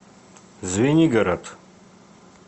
звенигород